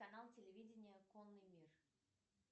канал телевидения конный мир